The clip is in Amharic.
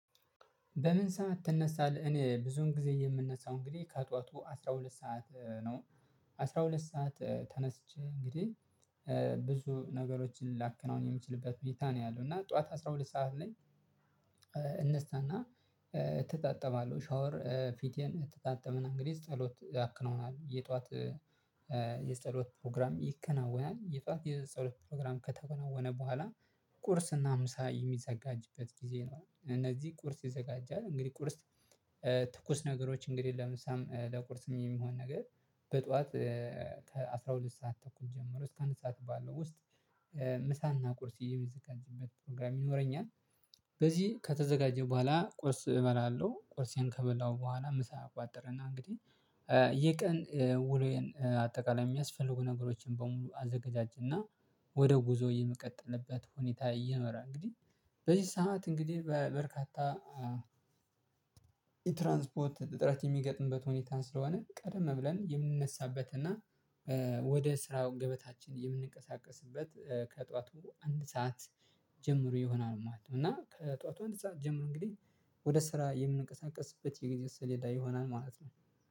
በምን? ሰዓት ትነሳለህ እኔ ብዙን ጊዜ የምነሳው እንግዲህ ከአጧቱ አስራ ሁለት ሰዓት ነው። አስራ ሁለት ሰዓት ተነስቼ እንግዲህ ብዙ ነገሮችን ላከነው የምችልበት ሁኔታ ነው ያለው እና ጠዋት አስራ ሁለት ሰዓት ነኝ። እንስታና ትጣጥማለሁ ሻወር ፊቴን ትጣጥመናል እንግዲህ ጸሎት ያክነውናል የጧት የጸሎት ፕሮግራም ይከናወናል። የጧት የጸሎት ፕሮግራም ከተጎናወነ በኋላ ቁርስ እና ምሳ የሚዘጋጅበት ጊዜ ነው። እነዚህ ቁርስ ይዘጋጃል። እንግዲህ ቁርስ ትኩስ ነገሮች እንግዲህ ለምሳሌ ለቁርስ የሚሆን ነገር በጧት ከአሥራ ሁለት ሰዓት ተኩል ጀምሮ እስከ አንድ ሰዓት ባለው ውስጥ ምሳና ቁርስ የሚያስችል ከዚህበት ፕሮግራም ይኖረኛል። በዚህ ከተዘጋጀ በኋላ ቁርስ እበላለሁ ቁርሴን ከበላሁ በኋላ ምሳ አቋጥርና እንግዲህ የቀን ውሎዬን አጠቃላይ የሚያስፈልጉ ነገሮችን በሙሉ አዘጋጃጀና። ወደ ጉዞ የመቀጠልበት ሁኔታ እየኖራ እንግዲህ በዚህ ሰዓት እንግዲህ በበርካታ የትራንስፖርት ጥረት የሚገጥምበት ሁኔታን ስለሆነ ቀደም ብለን የምንነሳበት እና ወደ ስራው ገበታችን የምንንቀሳቀስበት ከጠዋቱ አንድ ሰዓት ጀምሮ ይሆናል ማለት ነው። እና ከጧቷ እንደዛ ጀምሮ እንግዲህ ወደ ስራ የምንቀሳቀስበት የጊዜ ስሌዳ ይሆናል ማለት ነው